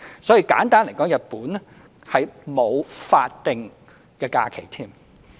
所以，簡單而言，日本是沒有法定假日。